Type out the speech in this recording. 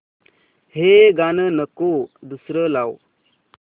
हे गाणं नको दुसरं लाव